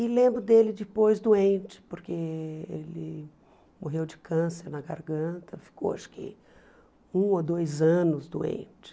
E lembro dele depois doente, porque ele morreu de câncer na garganta, ficou acho que um ou dois anos doente.